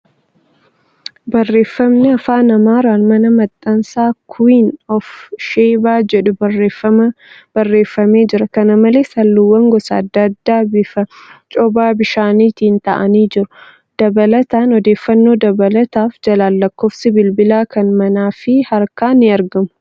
Barreeffamni Afaan Amaaraan' mana maxxansa kuwiin oof Sheebaa ' jedhu barreeffamee jira. Kana malees, halluuwwan gadda addaa bifa coba bishaanittiin taa'anii jiru. Dabalattaan, odeeffannoo dabalataaf jalaan lakkoofsi bilbilaa kan manaa fi harkaa ni argamu.